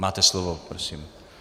Máte slovo, prosím.